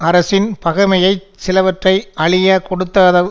அரசின் பகைமையைச் சிலவற்றை அழியக் கொடுத்தாவது